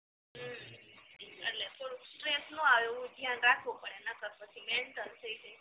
હ હ એટલે થોડુક stress ના આવ્યું હોય ધ્યાન રાખવુ પડે નકર પછી mental થઈ જવી